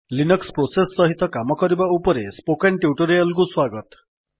Linux process ସହିତ କାମ କରିବା ଉପରେ ସ୍ପୋକେନ୍ ଟ୍ୟୁଟୋରିଆଲ୍ କୁ ସ୍ୱାଗତ